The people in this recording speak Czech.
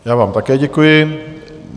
Já vám také děkuji.